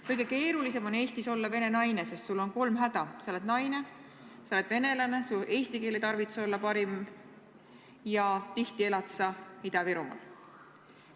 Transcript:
Kõige keerulisem on Eestis olla vene naine, sest sul on kolm häda: sa oled naine, sa oled venelane ja su eesti keel ei tarvitse olla parim ning tihti elad sa Ida-Virumaal.